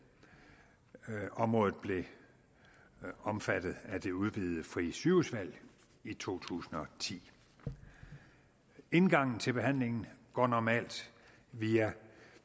området blev omfattet af det udvidede frie sygehusvalg i to tusind og ti indgangen til behandlingen går normalt via